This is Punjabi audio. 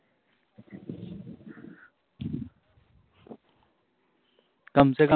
ਕਮ ਸੇ ਕਮ